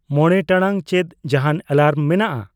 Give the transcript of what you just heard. ᱢᱚᱬᱮ ᱴᱟᱲᱟᱝ ᱪᱮᱫ ᱡᱟᱦᱟᱱ ᱮᱞᱟᱢ ᱢᱮᱱᱟᱜ ᱟ